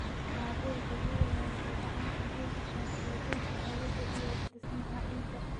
Maaddada dabiiciga ah waxay gacan ka geysataa hagaajinta hawada iyo dhismaha ciidda.